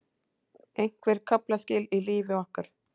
Einhver kaflaskil í lífi okkar.